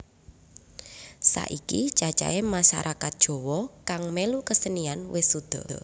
Saiki cacahé masarakat Jawa kang mèlu kesenian wis suda